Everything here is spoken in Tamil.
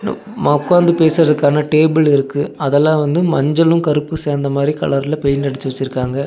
மா உக்காந்து பேசுறதுக்கான டேபிள் இருக்கு அதெல்லா வந்து மஞ்சளு கருப்பு சேந்த மாரி கலர்ல பெயிண்ட் அடிச்சு வச்சிருக்காங்க.